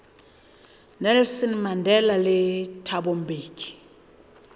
nelson mandela le thabo mbeki